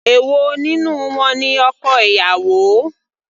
Èwo nínú wọn ni ọkọ ìyàwó.